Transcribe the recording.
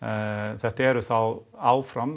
þetta eru þá áfram